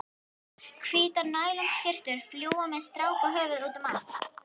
Hvítar nælonskyrtur fljúga með strákahöfuð útum allt.